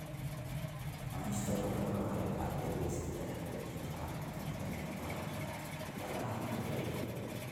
Cunista kalluunka waxay gacan ka geysataa hagaajinta caafimaadka neerfaha, gaar ahaan waayeelka.